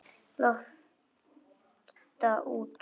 Lofta út.